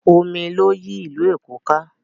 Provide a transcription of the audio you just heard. Omi ló yí ìlú Èkó ká.